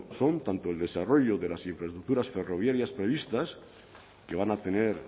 son tanto el desarrollo de las infraestructuras ferroviarias previstas que van a tener